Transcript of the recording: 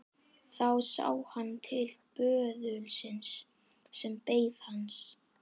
Þá sá hann til böðulsins sem beið hans.